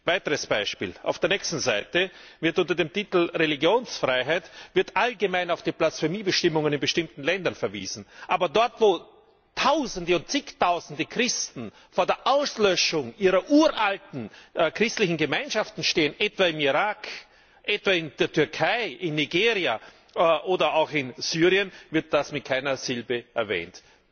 Weiteres Beispiel Auf der nächsten Seite wird unter dem Titel Religionsfreiheit allgemein auf die Blasphemiebestimmungen in bestimmten Ländern verwiesen. Aber dort, wo Tausende und Zigtausende Christen vor der Auslöschung ihrer uralten christlichen Gemeinschaften stehen etwa im Irak, etwa in der Türkei, in Nigeria, oder auch in Syrien wird das mit keiner Silbe erwähnt.